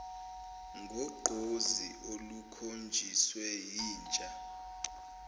ngogqozi olukhonjiswe yintsha